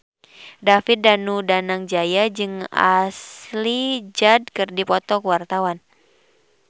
David Danu Danangjaya jeung Ashley Judd keur dipoto ku wartawan